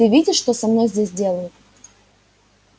ты видишь что со мной здесь делают